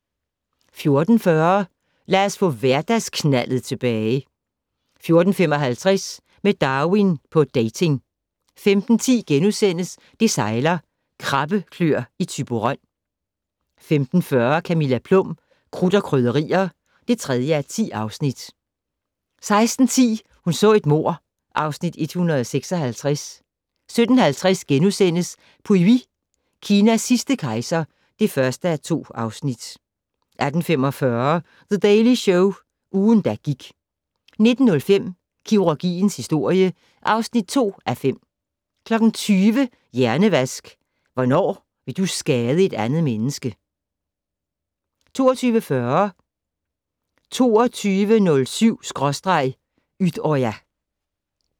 14:40: Lad os få hverdagsknaldet tilbage 14:55: Med Darwin på dating 15:10: Det sejler - Krabbeklør i Thyborøn * 15:40: Camilla Plum - Krudt og Krydderier (3:10) 16:10: Hun så et mord (Afs. 156) 17:50: Pu Yi - Kinas sidste kejser (1:2)* 18:45: The Daily Show - ugen, der gik 19:05: Kirurgiens historie (2:5) 20:00: Hjernevask - Hvornår vil du skade et andet menneske? 20:40: 22.07/Utøya